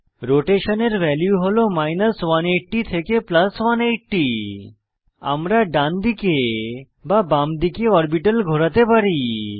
rotation এর value হল 180 থেকে 180 আমরা ডানদিকে বা বামদিকে অরবিটাল ঘোরাতে পারি